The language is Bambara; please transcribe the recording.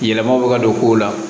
Yɛlɛmaw bɛ ka don kow la